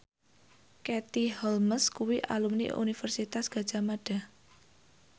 Katie Holmes kuwi alumni Universitas Gadjah Mada